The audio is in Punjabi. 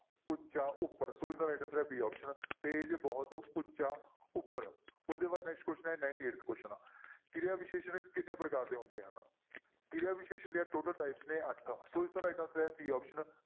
ਉੱਚਾ ਉੱਪਰ, ਸੋ ਇਸਦਾ right answer ਹੈ b option ਤੇਜ ਬਹੁਤ ਉੱਚਾ ਉੱਪਰ, ਉਸਦੇ ਬਾਅਦ next question ਹੈ ninety-Eighth question ਕਿਰਿਆ ਵਿਸ਼ੇਸ਼ਣ ਕਿੰਨੇ ਪ੍ਰਕਾਰ ਦੇ ਹੁੰਦੇ ਹਨ? ਕਿਰਿਆ ਵਿਸ਼ੇਸ਼ਣ ਦੀਆਂ total types ਨੇ ਅੱਠ, ਸੋ ਇਸਦਾ right answer ਹੈ c option